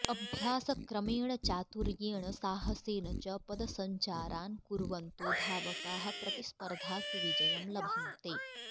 अभ्यासक्रमेण चातुर्येण साहसेन च पदसञ्चारान् कुर्वन्तो धावकाः प्रतिस्पर्धासु विजयं लभन्ते